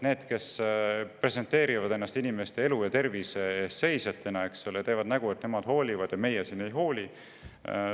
Need, kes presenteerivad ennast inimeste elu ja tervise eest seisjatena, teevad näo, et nemad hoolivad ja meie siin ei hooli.